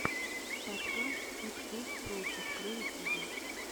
подкаст иксэс проджект на ютюбе